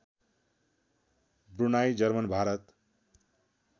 Brunei German Bharat